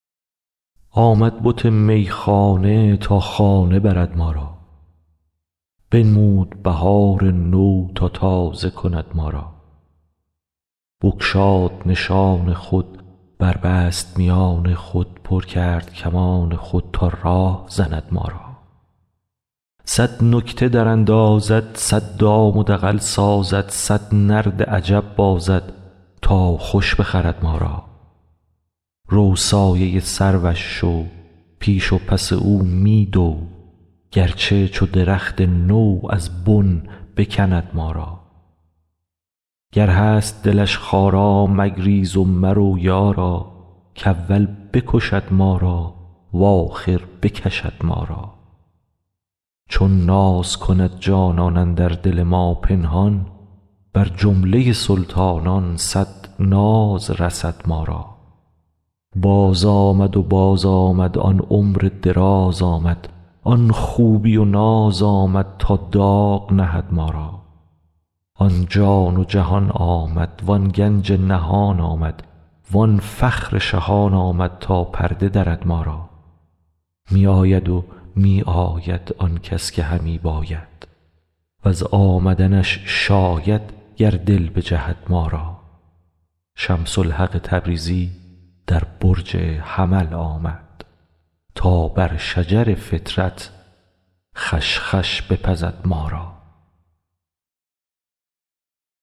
آمد بت میخانه تا خانه برد ما را بنمود بهار نو تا تازه کند ما را بگشاد نشان خود بربست میان خود پر کرد کمان خود تا راه زند ما را صد نکته دراندازد صد دام و دغل سازد صد نرد عجب بازد تا خوش بخورد ما را رو سایه سروش شو پیش و پس او می دو گرچه چو درخت نو از بن بکند ما را گر هست دلش خارا مگریز و مرو یارا کاول بکشد ما را و آخر بکشد ما را چون ناز کند جانان اندر دل ما پنهان بر جمله سلطانان صد ناز رسد ما را بازآمد و بازآمد آن عمر دراز آمد آن خوبی و ناز آمد تا داغ نهد ما را آن جان و جهان آمد وان گنج نهان آمد وان فخر شهان آمد تا پرده درد ما را می آید و می آید آن کس که همی باید وز آمدنش شاید گر دل بجهد ما را شمس الحق تبریزی در برج حمل آمد تا بر شجر فطرت خوش خوش بپزد ما را